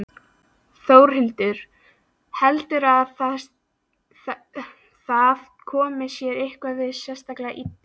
Þórhildur: Heldurðu að það komi þér eitthvað sérstaklega illa?